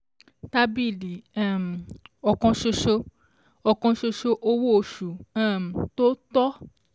Tábìlì um òkansoso: òkansoso -owó oṣù um tó tọ́